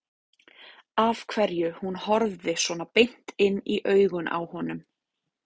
Af hverju hún horfði svona beint inn í augun á honum.